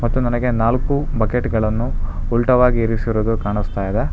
ಮತ್ತು ನನಗೆ ನಾಲ್ಕು ಬಕೆಟ್ ಗಳನ್ನು ಉಲ್ಟವಾಗಿರಿಸಿರುವುದು ಕಾಣಿಸುತ್ತದೆ.